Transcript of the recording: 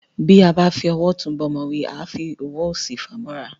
Tí a bá fi owó òtún bá ọmọ wí, àá fi owó òsì fà á móra